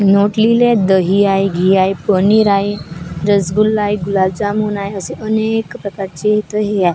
आहे घी आहे दही आहे पनीर आहे रसगुल्ला आहे गुलाबजाम आहे असं अनेक प्रकारचे इथं हे आहे.